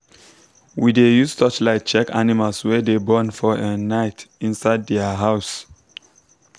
we dey use torchlight check animals wey dey born for um night inside their house.